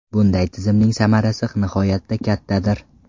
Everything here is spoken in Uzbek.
Bunday tizimning samarasi nihoyatda kattadir.